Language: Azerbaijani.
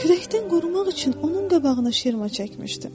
Küləkdən qorumaq üçün onun qabağına şirmə çəkmişdim.